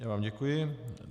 Já vám děkuji.